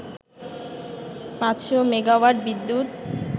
৫০০ megawatt বিদ্যুৎ